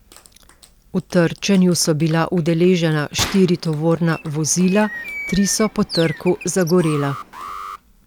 V trčenju so bila udeležena štiri tovorna vozila, tri so po trku zagorela.